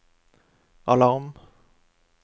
alarm